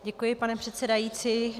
Děkuji, pane předsedající.